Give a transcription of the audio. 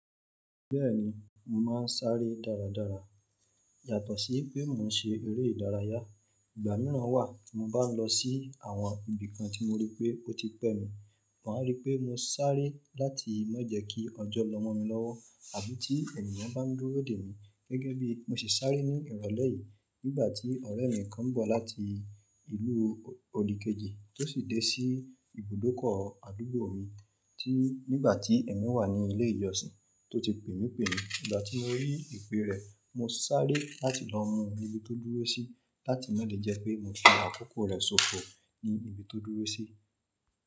Bẹ́ẹ̀ni mo máa ń sáré dáradára. Yàtọ̀ sí pé mo ń ṣe eré ìdárayá. Ìgbà mìíràn wà tí mo bá ń lọ sí àwọn ibì kan tí mo rí pé ó ti pẹ́ mi, màá rí pé mo sáré láti má jẹ kí ọjọ́ lọ mo mi lọ́wọ́ àbí ti ènìyàn bá ń dúró dè mí. Gẹ́gẹ́ bí mo sì sáré ní ìrọ̀lẹ́ yìí nígbà tí ọ̀rẹ́ mi kan ń bọ̀ láti ìlú odìkejì tó sì dé sí ibùdókọ̀ àdúgbò mi tí nígbà tí èmi wà ní ilé ìjọsìn tó ti pè mí pè mí. Ìgbà tí mo rí ìpè rẹ̀, mo sáré láti lọ mú un níbi tó dúró sí láti má lè jẹ́ pé mo fi àkókò rẹ̀ sóko ní ibi tó dúró sí.